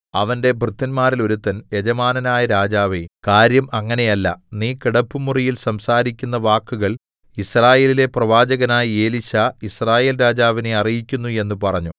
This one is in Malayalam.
അവന്റെ ഭൃത്യന്മാരിൽ ഒരുത്തൻ യജമാനനായ രാജാവേ കാര്യം അങ്ങനെയല്ല നീ കിടപ്പുമുറിയിൽ സംസാരിക്കുന്ന വാക്കുകൾ യിസ്രായേലിലെ പ്രവാചകനായ എലീശാ യിസ്രായേൽരാജാവിനെ അറിയിക്കുന്നു എന്ന് പറഞ്ഞു